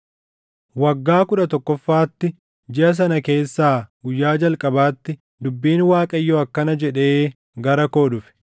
Waggaa kudha tokkoffaatti, jiʼa sana keessaa guyyaa jalqabaatti dubbiin Waaqayyoo akkana jedhee gara koo dhufe: